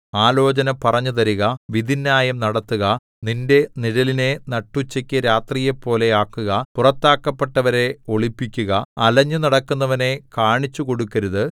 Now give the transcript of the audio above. ആലോചന പറഞ്ഞുതരുക വിധിന്യായം നടത്തുക നിന്റെ നിഴലിനെ നട്ടുച്ചയ്ക്കു രാത്രിയെപ്പോലെ ആക്കുക പുറത്താക്കപ്പെട്ടവരെ ഒളിപ്പിക്കുക അലഞ്ഞു നടക്കുന്നവനെ കാണിച്ചുകൊടുക്കരുത്